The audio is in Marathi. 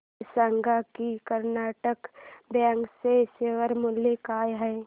हे सांगा की कर्नाटक बँक चे शेअर मूल्य काय आहे